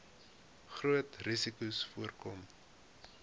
grootste risikos voorkom